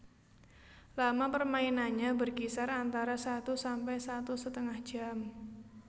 Lama permainannya berkisar antara satu sampai satu setengah jam